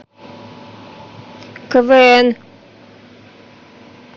квн